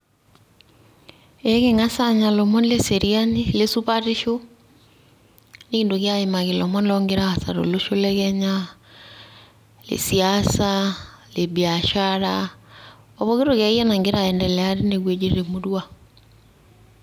Eking'as aanya lomon le seriani, le supatisho. Nikintoki aimaki lomon logira aasa tolosho le kenya; le siasa, le biashara opoki toki akeyie nagira aiendelea teine wueji temurua.